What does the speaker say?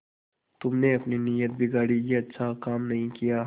तुमने अपनी नीयत बिगाड़ी यह अच्छा काम नहीं किया